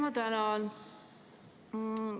Ma tänan!